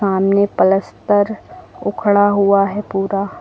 सामने पलस्तर उखड़ा हुआ है पूरा।